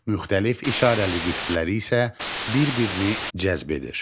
Müxtəlif işarəli qütbləri isə bir-birini cəzb edir.